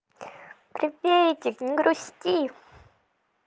приветик не грусти